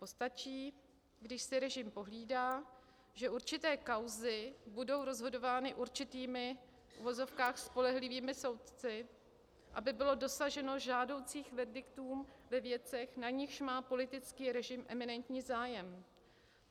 Postačí, když si režim pohlídá, že určité kauzy budou rozhodovány určitými v uvozovkách spolehlivými soudci, aby bylo dosaženo žádoucích verdiktů ve věcech, na nichž má politický režim eminentní zájem.